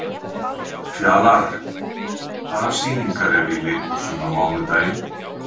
Fjalarr, hvaða sýningar eru í leikhúsinu á mánudaginn?